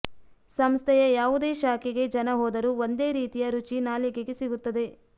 ಸಂಸ್ಥೆಯ ಯಾವುದೇ ಶಾಖೆಗೆ ಜನ ಹೋದರೂ ಒಂದೇ ರೀತಿಯ ರುಚಿ ನಾಲಗೆಗೆ ಸಿಗುತ್ತದೆ